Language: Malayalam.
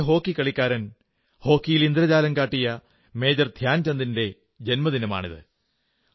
മഹാനായ ഹോക്കി കളിക്കാരൻ ഹോക്കിയിൽ ഇന്ദ്രജാലം കാട്ടിയ മേജർ ധ്യാൻചന്ദിന്റെ ജന്മദിനമാണിത്